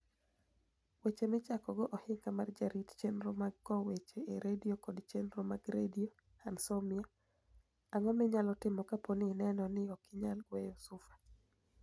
Weche michakogo ohiniga mar jarit cheniro mag kowo weche e Radio kod cheniro mag Radio Anosmia:Anig'o miniyalo timo kapo nii ini eno nii ok iniyal nigweyo sufa ?